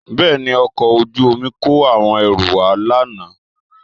Bẹ́ẹ̀ni, ọkọ̀ ojú omi kó àwọn ẹrù wá lánàá